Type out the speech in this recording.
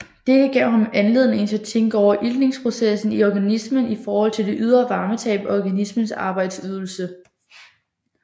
Dette gav ham anledning til at tænke over iltningsprocessen i organismen i forhold til det ydre varmetab og organismens arbejdsydelse